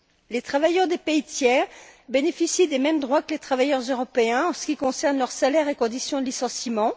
Les travailleurs des pays tiers bénéficient des mêmes droits que les travailleurs européens en ce qui concerne leurs salaires et conditions de licenciement.